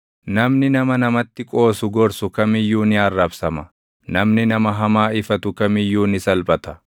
“Namni nama namatti qoosu gorsu kam iyyuu ni arrabsama; namni nama hamaa ifatu kam iyyuu ni salphata.